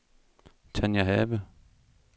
Tania Have